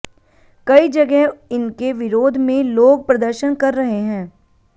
कई जगह इनके विरोध में लोग प्रदर्शन कर रहे हैं